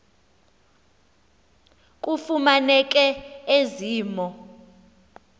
kufumaneke ezi mo